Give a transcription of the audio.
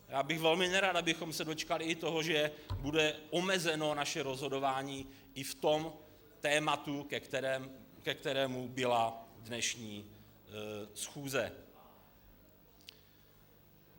Já bych velmi nerad, abychom se dočkali i toho, že bude omezeno naše rozhodování i v tom tématu, ke kterému byla dnešní schůze.